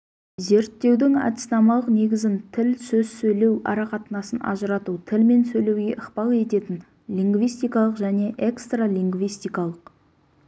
зерттеудің әдіснамалық негізін тіл сөз сөйлеу арақатынасын ажырату тіл мен сөйлеуге ықпал ететін лингвистикалық және экстралингвистикалық